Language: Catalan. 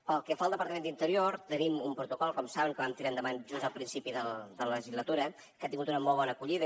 pel que fa al departament d’interior tenim un protocol com saben que vam tirar endavant just al principi de la legislatura que ha tingut una molt bona acollida